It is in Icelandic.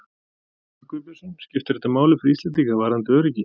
Jón Örn Guðbjartsson: Skiptir þetta máli fyrir Íslendinga varðandi öryggi?